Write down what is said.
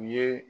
U ye